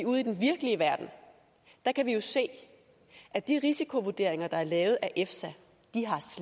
ude i den virkelige verden kan vi jo se at de risikovurderinger der er lavet af efsa